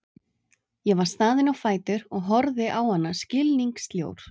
Ég var staðinn á fætur og horfði á hana skilningssljór.